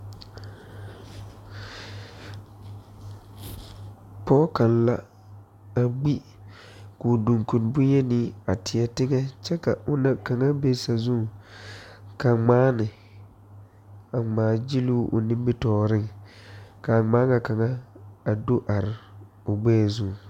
Tabole biŋyɛŋ ka kɔmpiutare dɔgle a tabole zuŋ ka neɛ zeŋ kyɛ de o nu dɔgle a kɔmpiuta eŋɛŋ a tabole zuŋ kyɛ ka ba mine are a ti a tabole kyɛ kaara a kɔmpiuta.